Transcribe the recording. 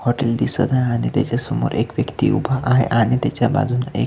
hotel दिसत आहे आणि त्याच्यासमोर एक व्यक्ति उभा आहे आणि त्याच्या बाजूला एक--